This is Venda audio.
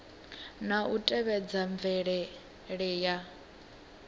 na u tevhedza mvelele ye